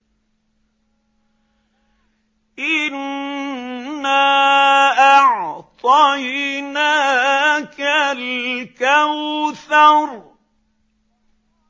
إِنَّا أَعْطَيْنَاكَ الْكَوْثَرَ